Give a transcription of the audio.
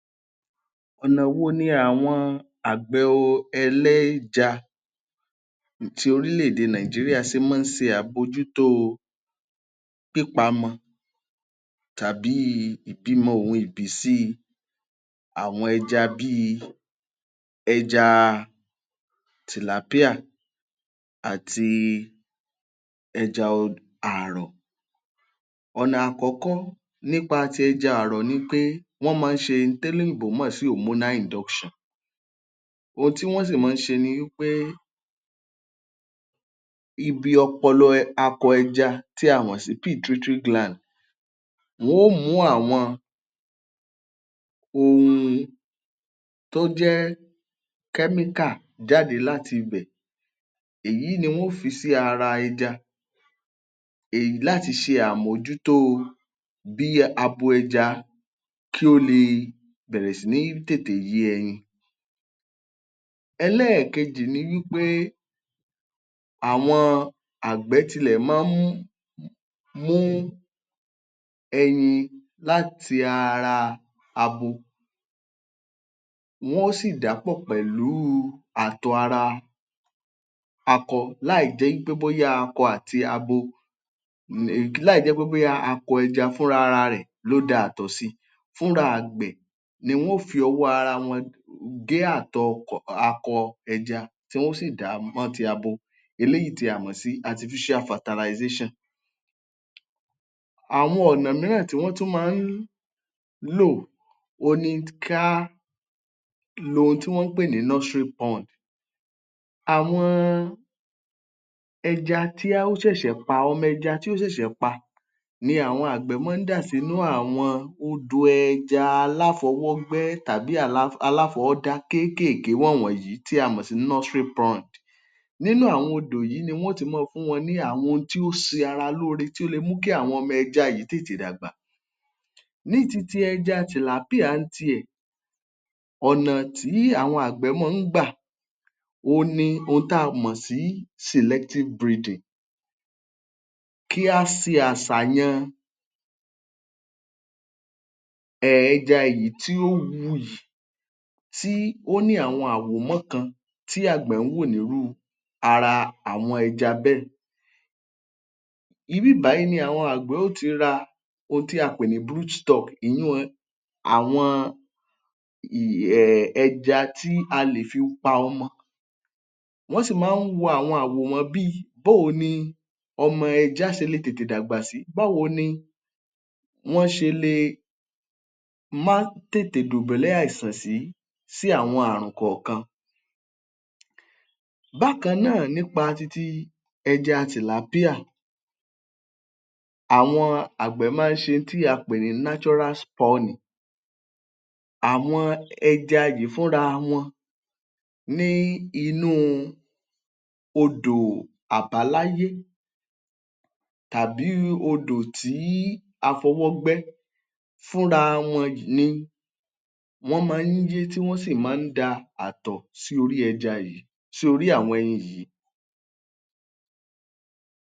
Ọ̀nà wo ni àwọn àgbẹ̀ ọ ẹlẹ́ja ti orílẹ̀-èdè Nigeria ṣe máa ń ṣe àbójútóo pípamọ tàbíi ìbímọ òhun ìbísíi àwọn ẹja bíi ẹja tilapia àti ẹja ọ àrọ̀. Ọ̀nà àkọ́kọ́ nípa ti ẹja àrọ̀ nií pé, wọ́n máa ń ṣe un téléyìnbó mọ̀ sí hormonal induction. Ohun tí wọ́n sì mọ́ọ ń ṣe ni wí pé ibi ọpọlọ akọ ẹja tí a mọ̀ sí gland. Wọn ó mú àwọn ohun tó jẹ́ chemical jáde láti bẹ̀. Èyí ni wọn ó fi sí ara ẹja um láti ṣe àmójútóo bí abo ẹja kí ó le bẹ̀rẹ̀ sí ní tètè yé ẹyin. Ẹlẹ́ẹ̀kejì ni wí pé àwọn àgbẹ̀ tilẹ̀ máa ń mú ẹyin láti ara abo, wọn ó sì dà á pọ̀ pẹ̀lú àtọ̀ ara akọ láìjẹ́ í pé bóyá akọ àti abo um láìjẹ́ pé bóyá akọ ẹja fúnrara rẹ̀ ló da àtọ̀ si. Fúnra àgbẹ̀ ni wọn ó fi ọwọ́ ara wọn gé àtọ̀ ọ akọ ẹja tí wọn ó sì dà á mọ́ ti abo eléyìí tí a mọ̀ sí artificial fertilization. Àwọn ọ̀nà míràn tí wọ́n tún máa ń lò òhun ni kí á lo òhun tí wọ́n ń pè ní nursery pond. Àwọn ẹja tí á ó ṣẹ̀ṣẹ̀ pa, ọmọ ẹja tí ó ṣẹ̀ṣẹ̀ pa ni àwọn àgbẹ̀ máa ń dà sínú àwọn odò ẹja aláfọwọ́gbẹ́ tàbí aláfọwọ́dá kéékèèké wọ̀n wọ̀nyí tí a mọ̀ sí nursery pond. Nínú àwọn odò yìí ni wọn ó ti máa fún wọn ní àwọn ohun tí ó ṣe ara lóore tó le mú kí àwọn ọmọ ẹja yìí tètè dàgbà. Ní ti ti ẹja tilapia ń tiẹ̀, ọ̀nà tí àwọn àgbẹ̀ mọ́ ń gbà òhun ni ohun tí a mọ̀ sí selective breeding. Kí á se àsàyàn ẹja èyí tí ó wuyì tí ó ní àwọn àwòmọ́ kan tí àgbẹ̀ ń wò níru ara àwọn ẹja bẹ́ẹ̀. Ibì bàyìí ni àwọn àgbẹ̀ ó ti ra ohun tí a pè ní brooch stock. Èyiun àwọn um ẹja tí a lè fi pa ọmọ. Wọ́n sì máa ń wo àwọn àwòmọ́ bíi, bó o ni ọmọ ẹja ṣe lè tètè dàgbà sí? Báwo ni wọ́n ṣe le má tètè dùbólẹ̀ àìsàn sí sí àwọn àrùn kọ̀ọ̀kan? Bákan náà nípa ti ti ẹja tilapia, àwọn àgbẹ̀ máa ń ṣe in tí a pè ní natural spawning. Àwọn ẹja yìí fúnra wọn ní inú odò àbáláyé tàbí odò tí a fọwọ́ gbẹ́ fúnra wọn ni wọ́n máa ń yé tí wọ́n sì máa ń da àtọ̀ sí orí ẹja yìí sí orí àwọn ẹyin yìí.